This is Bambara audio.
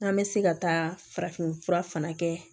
N'an bɛ se ka taa farafin fura fana kɛ